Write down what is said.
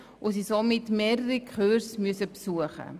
Sie müssen in diesem Fall mehrere Kurse besuchen.